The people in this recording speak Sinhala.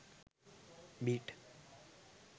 bit